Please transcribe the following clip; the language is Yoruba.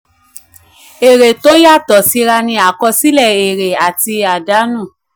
èrè tó yàtọ̀ síra ni àkọsílẹ̀ èrè àti àdánù.